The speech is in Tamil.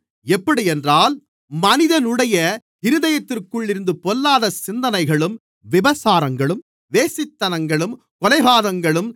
எப்படியென்றால் மனிதனுடைய இருதயத்திற்குள்ளிருந்து பொல்லாத சிந்தனைகளும் விபசாரங்களும் வேசித்தனங்களும் கொலைபாதகங்களும்